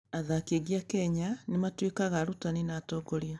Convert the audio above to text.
Athaki aingĩ a Kenya nĩ matuĩkaga arutani na atongoria.